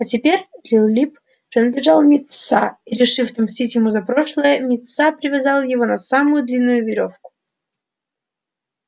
а теперь лил лип принадлежал мит са и решив отомстить ему за прошлое мит са привязал его на самую длинную верёвку